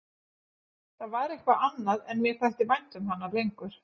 Það var eitthvað annað en mér þætti vænt um hana lengur.